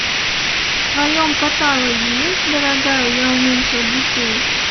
в твоем каталоге есть дорогая я уменьшил детей